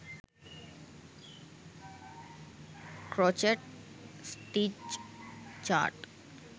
crochet stitch chart